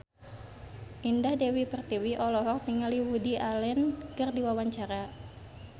Indah Dewi Pertiwi olohok ningali Woody Allen keur diwawancara